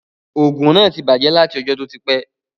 Òògùn náà ti bàjẹ́ láti ọjọ́ tó ti pẹ́